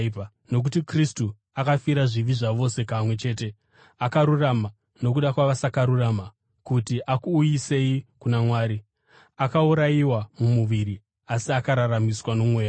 Nokuti Kristu akafira zvivi zvavose kamwe chete; akarurama nokuda kwavasakarurama, kuti akuuyisei kuna Mwari. Akaurayiwa mumuviri asi akararamiswa noMweya,